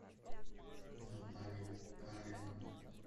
наталья кареновна